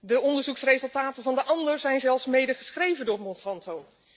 De onderzoeksresultaten van de ander zijn zelfs mede geschreven door Monsanto.